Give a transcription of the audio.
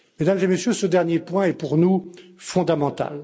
Mesdames et Messieurs, ce dernier point est pour nous fondamental.